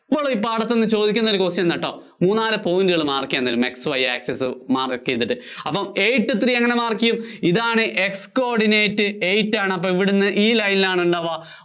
എപ്പോളും ഈ പാഠത്തീന്ന് ചോദിക്കുന്ന ഒരു question ആണുട്ടോ. മൂന്നാല് point ഇങ്ങനെ mark ചെയ്യാന്‍ തരും. X Y access mark ചെയ്തിട്ട്. അപ്പോ eight three എങ്ങിനെ mark ചെയ്യും? ഇതാണ് X coordinate eight ആണ് അപ്പോ ഇവിടുന്ന് ഈ line നിലാണുണ്ടാവ്വ